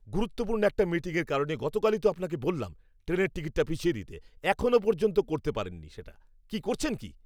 গুরুত্বপূর্ণ একটা মিটিংয়ের কারণে গতকালই তো আপনাকে বললাম ট্রেনের টিকিটটা পিছিয়ে দিতে, এখনও পর্যন্ত করতে পারেননি সেটা, কি করছেন কি?